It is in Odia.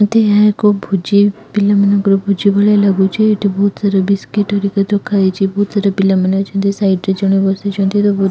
ଏଠି ଏହା ଏକ ଭୋଜି ପିଲାମାନଙ୍କର ଭୋଜି ଭଳିଆ ଲାଗୁଚି ଏଠି ବହୁତ୍ ସାରା ବିସ୍କିଟ୍ ହେରିକା ରଖାଯାଇଚି। ବହୁତ୍ ସାରା ପିଲା ମାନେ ଅଛନ୍ତି ସାଇଟ୍ ରେ ଜଣେ ବସିଛନ୍ତି ତାକୁ --